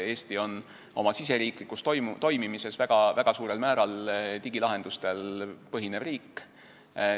Eesti on oma riigisiseses toimimises väga suurel määral digilahendustel põhinev riik.